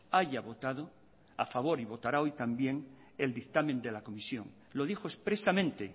haya votado a favor y votará hoy también el dictamen de la comisión lo dijo expresamente